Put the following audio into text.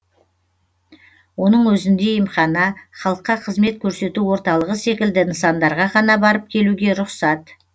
оның өзінде емхана халыққа қызмет көрсету орталығы секілді нысандарға ғана барып келуге рұқсат